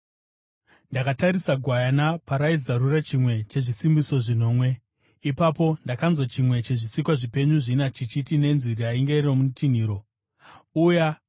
Ndakatarisa Gwayana paraizarura chimwe chezvisimbiso zvinomwe. Ipapo ndakanzwa chimwe chezvisikwa zvipenyu zvina chichiti nenzwi rainge rokutinhira, “Uya!”